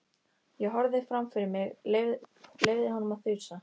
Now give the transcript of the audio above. Ég horfði fram fyrir mig, leyfði honum að þusa.